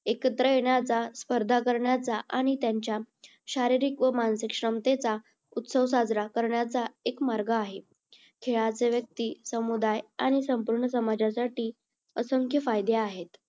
एकत्र येण्याचा, स्पर्धा करण्याचा आणि त्यांच्या शारीरिक व मानसिक क्षमतेचा उत्सव साजरा करण्याचा एक मार्ग आहे. खेळाचे व्यक्ती, समुदाय आणि संपूर्ण समाजासाठी असंख्य फायदे आहेत.